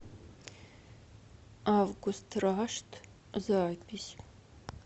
август рашт запись